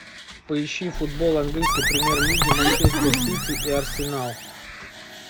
поищи футбол английской премьер лиги манчестер сити и арсенал